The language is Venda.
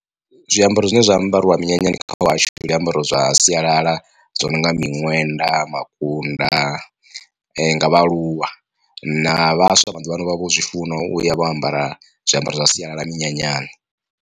Zwiambaro zwine zwa ambariwa minyanyani kha hahashu ndi zwiambaro zwa sialala zwi no nga miṅwenḓa makunda nga vhaaluwa na vhaswa maḓuvhaano vha vho zwi funa uya vha ambara zwiambaro zwa sialala minyanyani.